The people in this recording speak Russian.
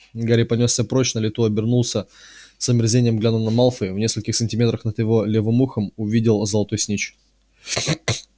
гарри понёсся прочь на лету обернулся с омерзением глянул на малфоя и в нескольких сантиметрах над его левым ухом увидел золотой снитч